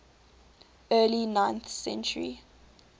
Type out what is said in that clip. early ninth century